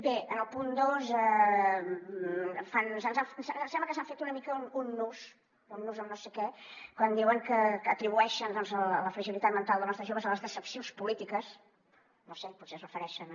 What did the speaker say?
bé en el punt dos ens sembla que s’han fet una mica un nus amb no sé què quan diuen que atribueixen la fragilitat mental dels nostres joves a les decepcions polítiques no ho sé potser es refereixen a